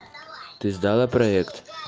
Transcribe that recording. ты сдала проект